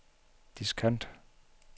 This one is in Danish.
diskant